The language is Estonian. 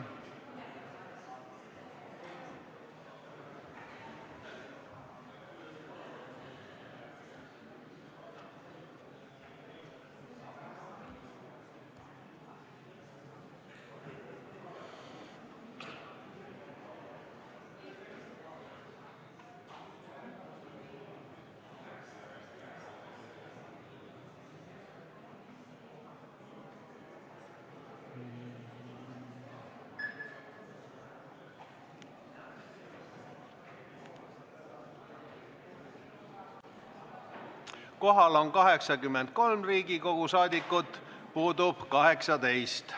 Kohaloleku kontroll Kohal on 83 Riigikogu liiget, puudub 18.